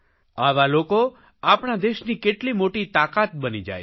આવા લોકો આપણા દેશની કેટલી મોટી શકિત બની જાય છે